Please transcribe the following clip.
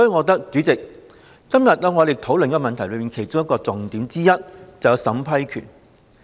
代理主席，我認為今天討論這項議案的重點之一，便是審批權。